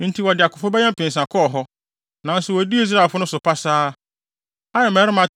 Enti wɔde akofo bɛyɛ mpensa kɔɔ hɔ, nanso wodii Israelfo no so pasaa. Ai mmarima